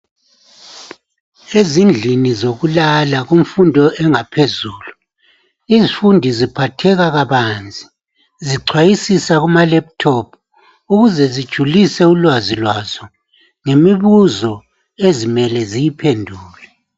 Ezindlini zokulala kumfundo engaphezulu izifundi ziphatheka kabanzi zicwayisisa kuma lephuthophu ukuze zijulise ulwazi lwazo ngemibuzo ezimele ziyiphendule.